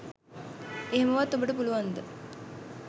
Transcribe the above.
එහෙමවත් ඔබට පුළුවන්ද